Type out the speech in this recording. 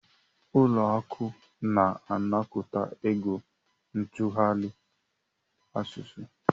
Ụlọ akụ na-anakọta ego ntụgharị asụsụ.